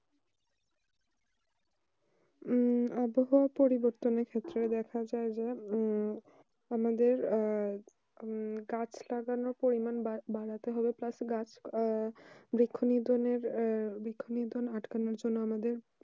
উম আবহাওয়া পরিবর্তনে ক্ষেত্রে দেখা যায় উম যে আমাদের আর গাছ লাগানো পরিমান বাড়াতে হবে গাছ বৃক্ষ রোপনে আটকানো জন্য আমাদের